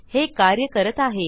हे कार्य करत आहे